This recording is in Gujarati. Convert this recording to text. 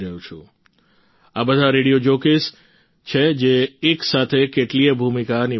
અને આ બધા રેડિયો જોકીઝ છે જે એક સાથે કેટલીયે ભૂમિકા નિભાવે છે